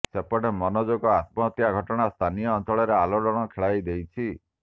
ସେପଟେ ମନୋଜଙ୍କ ଆତ୍ମହତ୍ୟା ଘଟଣା ସ୍ଥାନୀୟ ଅଞ୍ଚଳରେ ଆଲୋଡ଼ନ ଖେଳାଇଦେଇଛି